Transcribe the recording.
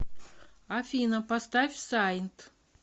афина поставь саинт